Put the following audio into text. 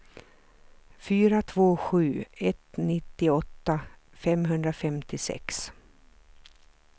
fyra två sju ett nittioåtta femhundrafemtiosex